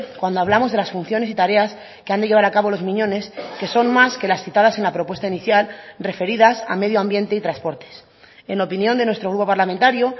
cuando hablamos de las funciones y tareas que han de llevar a cabo los miñones que son más que las citadas en la propuesta inicial referidas a medioambiente y transportes en opinión de nuestro grupo parlamentario